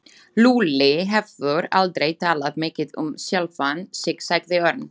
Lúlli hefur aldrei talað mikið um sjálfan sig sagði Örn.